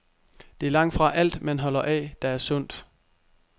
Det er langtfra alt, man holder af, der er sundt.